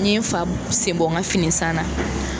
N ye n fa sen bɔ n ka fini san na.